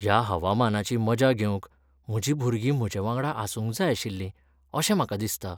ह्या हवामानाची मजा घेवंक म्हजीं भुरगीं म्हजेवांगडा आसूंक जाय आशिल्लीं अशें म्हाका दिसता.